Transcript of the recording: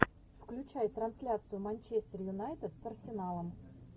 включай трансляцию манчестер юнайтед с арсеналом